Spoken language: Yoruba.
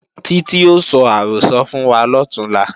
Títí ó sọ àrọ́sọ fún wa lọ̀túnla